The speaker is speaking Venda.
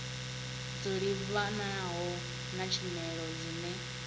dzo livhanaho na tshumelo dzine